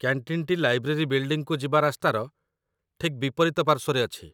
କ‍୍ୟାଣ୍ଟିନ୍‌ଟି library ବିଲ୍ଡିଂକୁ ଯିବା ରାସ୍ତାର ଠିକ୍ ବିପରୀତ ପାର୍ଶ୍ୱରେ ଅଛି